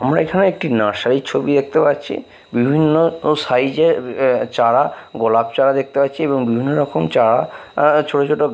আমরা এখানে একটি নার্সারি র ছবি দেখতে পাচ্ছি বিভিন্ন ও সাইজ এর আ চারা গোলাপ চারা দেখতে পাচ্ছি এবং বিভিন্ন রকম চারা আ ছোট-ছোট --